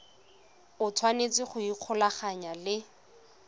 o tshwanetse go ikgolaganya le